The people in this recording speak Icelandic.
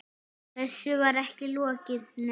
Þessu var ekki lokið, nei.